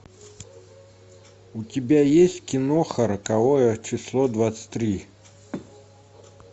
у тебя есть киноха роковое число двадцать три